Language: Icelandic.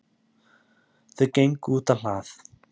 Þau gengu útá hlað.